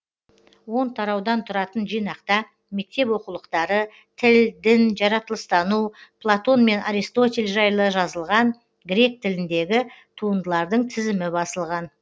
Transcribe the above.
он тараудан тұратын жинақта мектеп оқулықтары тіл дін жаратылыстану платон мен аристотель жайлы жазылған грек тіліндегі туындылардың тізімі басылған